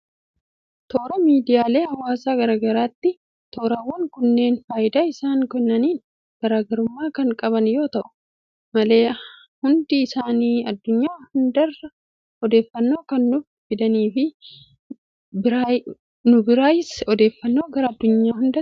Toora miidiyaalee hawaasaa garagaraati. Toorawwan kunniin faayidaa isaan kennaniin garaagarummaa Kan qaban haa ta'uuyyu malee hundi isaanii addunyaa hundarraa odeeffannoo Kan nuuf fidaniifi nu biraayis odeeffannoo gara addunyaa hundatti Kan geessaniidha.